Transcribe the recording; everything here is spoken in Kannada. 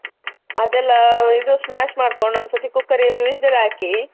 ಅದೆಲ್ಲಾ ಇದು smash ಮಾಡ್ಕೊಂಡು ಒಂದ್ಸರ್ತಿ cooker ಅಲ್ಲಿ whistle ಹಾಕಿ.